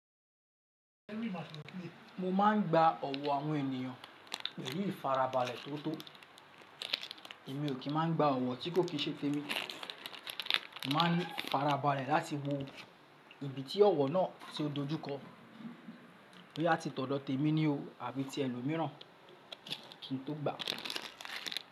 Mo maa n gba ọ̀wọ̀ àwọn ènìyàn, èyí ìfarabalẹ̀ tó tó. Èmi ò kí máa n gba ọ̀wọ̀ tí kò kì ṣe tèmi. Màá ni ifarabalẹ̀ láti wo ibi tí ọ̀wọ̀ náà ti o dojú kọ, bóyá tí tọ́dọ̀ tèmi ni o àbí ti ẹlòmíràn kí n tó gbà.